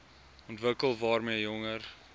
ontwikkel waarmee jonger